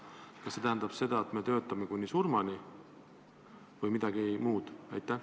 Kas see tähendab seda, et tuleb töötada kuni surmani, või midagi muud?